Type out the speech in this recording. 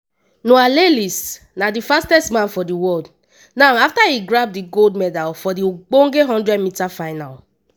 noah lyles na di fastest man for di world now afta e grab di gold medal for di ogbonge 100m final.